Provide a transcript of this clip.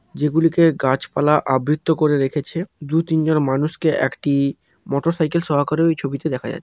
যেগুলিকে গাছপালা আবৃত করে রেখেছে। দু তিনজন মানুষকে একটি-ই মোটরসাইকেল সহকারে ওই ছবিতে দেখা যা--